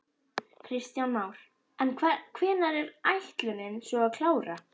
Kristján Már: En hvenær er ætlunin svo að klára?